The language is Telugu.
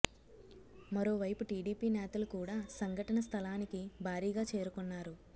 మరో వైపు టీడీపీ నేతలు కూడ సంఘటన స్థలానికి భారీగా చేరుకొన్నారు